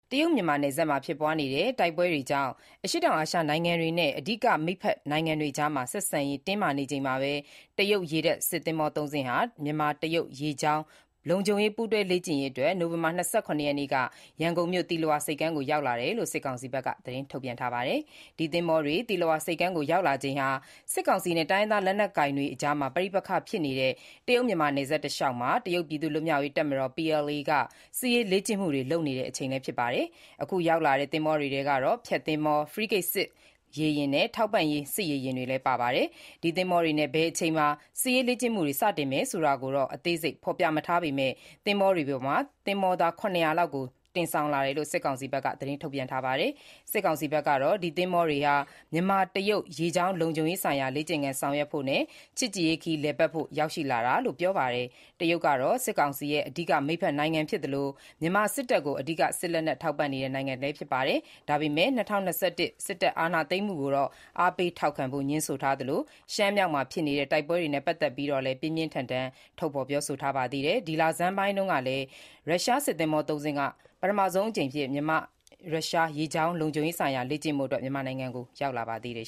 တရုတ်-မြန်မာ နယ်စပ်မှာ ဖြစ်ပွားနေတဲ့ တိုက်ပွဲတွေကြောင့် ဒေသတွင်း နိုင်ငံတွေအကြား ဆက်ဆံရေး မပြေလည်မှုတွေ ဖြစ်ပေါ်နေချိန်မှာပဲ တရုတ် ရေတပ်သင်္ဘောသုံးစင်းဟာ မြန်မာ-တရုတ် ရေကြောင်းလုံခြုံရေးပူးတွဲလေ့ကျင့်ရေးအတွက် နိုဝင်ဘာ ၂၇ ရက်နေ့က ရန်ကုန်မြို့ သီလဝါ ဆိပ်ကမ်းကို ရောက်လာတယ်လို့ စစ်ကောင်စီဘက်က သတင်းထုတ်ပြန်ထားပါတယ်။ ဒီသင်္ဘောတွေသီလဝါဆိပ်ကမ်းကို ရောက်လာချိန်ဟာ စစ်ကောင်စီနဲ့ တိုင်းရင်းသားလက်နှက်ကိုင်တွေအကြား ပဋိပက္ခဖြစ်နေတဲ့ တရုတ်-မြန်မာနယ်စပ်တလျှောက်မှာ တရုတ်ပြည်သူ့လွတ်မြောက်ရေးတပ်မတော် (PLA)က စစ်ရေးလေ့ကျင့်မှုတွေ လုပ်နေချိန်လည်း ဖြစ်ပါတယ်။ အခုရောက်လာတဲ့ သင်္ဘောတွေထဲကတော့ ဖျက်သင်္ဘော Zi Bo၊ ဖရီးဂိတ်စစ်ရေယာဉ် Jing Zhou နဲ့ ထောက်ပံ့ရေးစစ်ရေယာဉ် Qian Dao Hu တို့ဖြစ်ပါတယ်။ ဘယ်အချိန်မှာ စစ်ရေးလေ့ကျင့်မှုတွေ စတင်မယ်ဆိုတာကို အသေးစိတ်ဖော်ပြမထားပေးမဲ့ ဒီသင်္ဘောတွေပေါ်မှာ သင်္ဘောသား ၇၀၀ လောက်ကို တင်ဆောင်လာတယ်လို့လည်း စစ်ကောင်စီဘက်က သတင်းထုတ်ပြန်ထားပါတယ်။ စစ်ကောင်စီဘက်ကတော့ ဒီသင်္ဘောတွေဟာ မြန်မာ-တရုတ် ရေကြောင်းလုံခြုံရေးဆိုင်ရာလေ့ကျင့်ခန်းဆောင်ရွက်ဖို့နဲ့ ချစ်ကြည်ရေးခရီးလည်ပတ်ဖို့ ရောက်ရှိလာတာလို့ ပြောပါတယ်။ တရုတ်ဟာ စစ်ကောင်စီရဲ့ အဓိက မိတ်ဖက်နိုင်ငံဖြစ်သလို၊ မြန်မာစစ်တပ်ကို အဓိက စစ်လက်နှက်ထောက်ပံ့ပေးနေတဲ့ နိုင်ငံလည်း ဖြစ်ပါတယ်။ ဒါပေမဲ့ ၂၀၂၁ စစ်တပ်အာဏာသိမ်းမှုကိုတော့ အားပေးထောက်ခံဖို့ ငြင်းဆိုထားသလို၊ ရှမ်းမြောက်မှာ ဖြစ်နေတဲ့ တိုက်ပွဲတွေနဲ့ ပတ်သက်ပြီး ပြင်းပြင်းထန်ထန်ထုတ်ဖော်ပြောဆိုထားပါသေးတယ်။ ဒီလဆန်းပိုင်းတုန်းကလည်း ရုရှားစစ်သင်္ဘော(၃)စင်းကလည်း ပထမဆုံးအကြိမ်အဖြစ် မြန်မာ-ရုရှားရေကြောင်းလုံခြုံရေးဆိုင်ရာလေ့ကျင့်ဖို့ မြန်မာနိုင်ငံကို ရောက်လာပါသေးတယ်